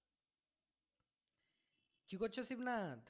কি করছো শিবনাথ?